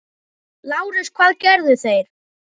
LÁRUS: Hvað gerðu þeir?